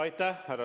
Aitäh!